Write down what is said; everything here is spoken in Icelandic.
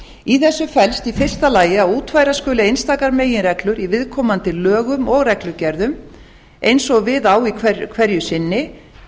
í þessu felst í fyrsta lagi að útfæra skal einstakar meginreglur í viðkomandi lögum og reglugerðum eins og við á hverju sinni